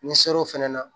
N'i sera o fana na